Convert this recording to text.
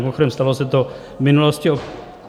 Mimochodem, stalo se to v minulosti.